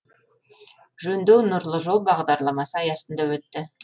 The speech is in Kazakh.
жөндеу нұрлы жол бағдарламасы аясында өтті